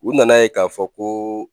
U nana ye k'a fɔ ko,